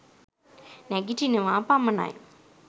නැගිටිනවා පමණයි.